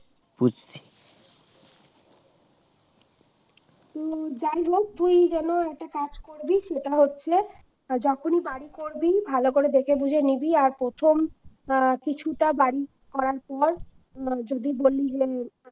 অ্যাঁ যাইহোক তুই যেন একটা কাজ করবি সেটা হচ্ছে যখনই বাড়ি করবি ভালো করে দেখে বুঝে নিবি আর প্রথম অ্যাঁ কিছুটা বাড়ি করার পর যদি বলি যে